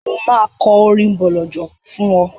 Mo máa kọ orin bọ̀lọ̀jọ̀ fún ọ.